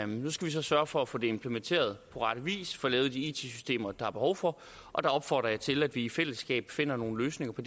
nu skal vi så sørge for at få det implementeret på rette vis få lavet de it systemer der er behov for og der opfordrer jeg til at vi i fællesskab finder nogle løsninger på